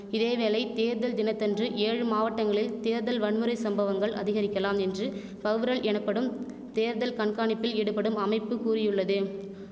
இதேவேளை தேர்தல் தினத்தன்று ஏழு மாவட்டங்களில் தேர்தல் வன்முறை சம்பவங்கள் அதிகரிக்கலாம் என்று பவ்ரல் எனப்படும் தேர்தல் கண்காணிப்பில் ஈடுபடும் அமைப்பு கூறியுள்ளது